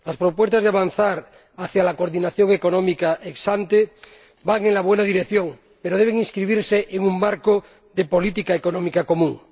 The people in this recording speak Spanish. Las propuestas de avanzar hacia la coordinación económica ex ante van en la buena dirección, pero deben inscribirse en un marco de política económica común.